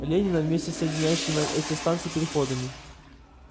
ленина вместе с соединяющими эти станции переходами